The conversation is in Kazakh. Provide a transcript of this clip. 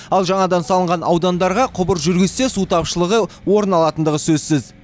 ал жаңадан салынған аудандарға құбыр жүргізсе су тапшылығы орын алатындығы сөзсіз